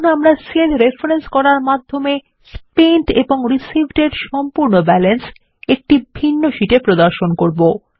এখন আমরা cell reference করার মাধ্যমে স্পেন্ট এবং Receivedএর সম্পূর্ণ ব্যালেন্স একটি ভিন্ন শীটে প্রদর্শন করবো